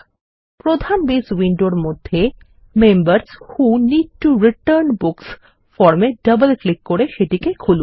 প্রধান বেস উইন্ডোর মধ্যে members who need to return books form এ ডবল ক্লিক করে সেটিকে খুলুন